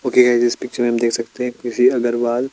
okay guys इस picture में देख सकते है की किसी अगरवाल --